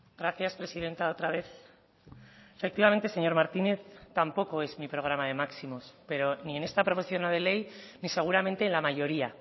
gracias presidenta otra vez efectivamente señor martínez tampoco es mi programa de máximos pero ni en esta proposición no de ley ni seguramente en la mayoría